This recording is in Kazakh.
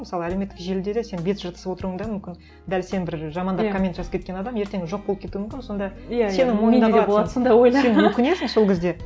мысалы әлеуметтік желіде де сен бет жыртысып отыруың да мүмкін дәл сен бір жамандап коммент жазып кеткен адам ертең жоқ болып кетуі мүмкін сонда сен өкінесің сол кезде